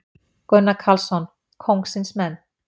Gunnar Karlsson: Kóngsins menn.